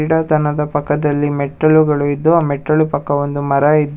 ಪಕ್ಕದಲ್ಲಿ ಮೆಟ್ಟಿಲುಗಳು ಇದ್ದು ಆ ಮೆಟ್ಟಿಲುಗಳ ಪಕ್ಕ ಒಂದು ಮರ ಇದ್ದು--